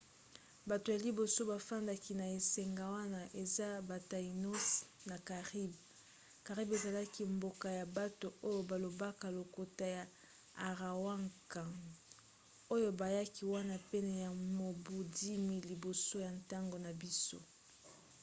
bato ya liboso bafandaki na esanga wana eza ba taínos na caribes. caribes ezalaki mboka ya bato oyo balobaka lokota ya arawakan oyo bayaki wana pene ya mobu 10 000 liboso ya ntango na biso